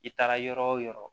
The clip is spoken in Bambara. I taara yɔrɔ o yɔrɔ